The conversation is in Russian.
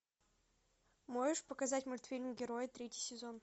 можешь показать мультфильм герои третий сезон